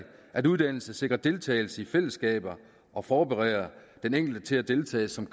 at uddannelse sikrer deltagelse i fællesskaber og forbereder den enkelte til at deltage som